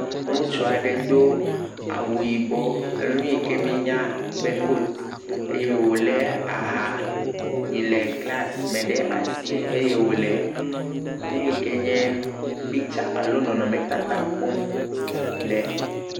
Ŋutsu aɖe do awu yibɔ. Nu yi ke m]enya be kotu eye wole aha yi le glasi me ɖe asi eye wole nu yi ke nye pictsa alo nɔnɔme tata kpɔm le.